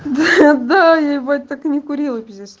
да да я ебать так не курила пиздец